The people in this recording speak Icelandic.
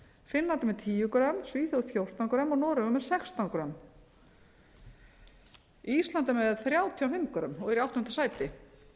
finnland er með tíu grömm svíþjóð fjórtán grömm og noregur með sextán grömm ísland er með þrjátíu og fimm grömm og er í áttunda sæti